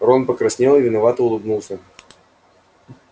рон покраснел и виновато улыбнулся